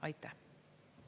Aitäh!